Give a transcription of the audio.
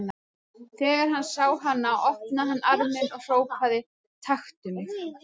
Þegar hann sá hana opnaði hann arminn og hrópaði: Taktu mig!